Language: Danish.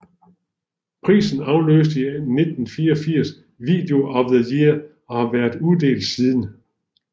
Prisen afløste i 1984 Video of the Year og har været uddelt siden